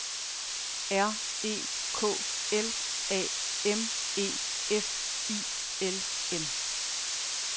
R E K L A M E F I L M